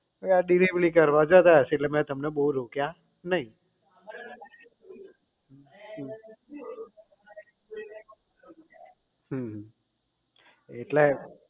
ભઈ આ delivery કરવા જતા હશે એટલે મેં તમને બહુ રોક્યા નહીં હમ હમ એટલે